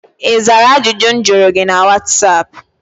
Ị zaa ajụjụ m jụrụ gị na whatsaap?